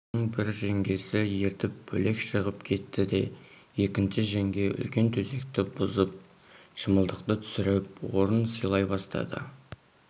оны бір жеңгесі ертіп бөлек шығып кетті де екінші жеңге үлкен төсекті бұзып шымылдықты түсіріп орын сайлай бастады